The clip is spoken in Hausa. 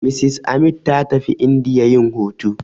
Mrs Amit ta tafi indiya yin hutu.